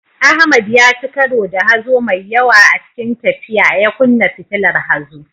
Ahmad ya ci karo da hazo mai yawa a cikin tafiya, ya kunna fitilar hazo.